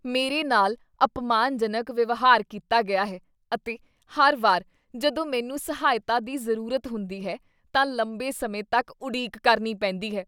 ਮੇਰੇ ਨਾਲ ਅਪਮਾਨਜਨਕ ਵਿਵਹਾਰ ਕੀਤਾ ਗਿਆ ਹੈ ਅਤੇ ਹਰ ਵਾਰ ਜਦੋਂ ਮੈਨੂੰ ਸਹਾਇਤਾ ਦੀ ਜ਼ਰੂਰਤ ਹੁੰਦੀ ਹੈ ਤਾਂ ਲੰਬੇ ਸਮੇਂ ਤੱਕ ਉਡੀਕ ਕਰਨੀ ਪੈਂਦੀ ਹੈ।